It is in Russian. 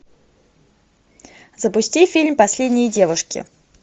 запусти фильм последние девушки